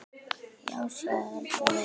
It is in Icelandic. Já, svaraði Lóa.